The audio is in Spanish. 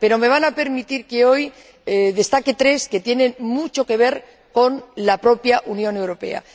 Pero me van a permitir que hoy destaque tres que tienen mucho que ver con la propia Unión Europea.